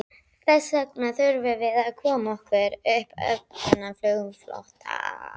Þessvegna þurfum við að koma okkur upp öflugum flugflota.